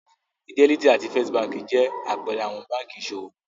Fidelity àti First Báńkì jẹ́ àpẹẹrẹ àwọn báńkì ìṣòwò.